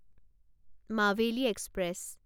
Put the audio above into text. Maveli express